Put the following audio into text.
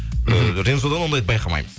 э рензо да ондайды байқамаймын